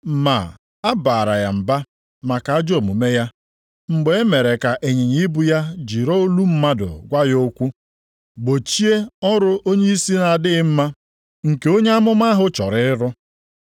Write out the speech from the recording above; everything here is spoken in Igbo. Ma a baara ya mba maka ajọ omume ya, mgbe e mere ka ịnyịnya ibu ya jiri olu mmadụ gwa ya okwu; gbochie ọrụ onyeisi na-adịghị mma nke onye amụma ahụ chọrọ ịrụ.